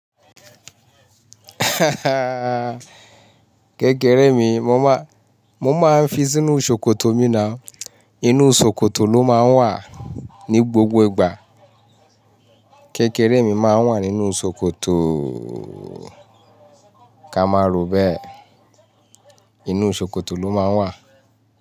Kekere mi mo máa, mo máa ń fi sínú ṣòkòtò mi ná. Inú ṣòkòtò ló máa ń wà ní gbogbo ìgbà. Kẹ́kẹ́rẹ́ mi máa ń wà nínú ṣòkòtò, ká máa rò bẹ́ẹ̀. Inú ṣòkòtò ló máa ń wà.